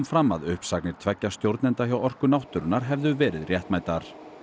fram að uppsagnir tveggja stjórnenda hjá Orku náttúrunnar hefðu verið réttmætar